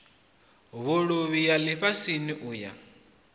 vhuluvhi ya lifhasini u ya